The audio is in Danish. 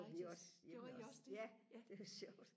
det gjorde vi også hjemme ved os ja det var sjovt